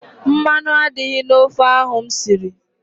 Mmanụ adịghị n' ofe ahụ m siri.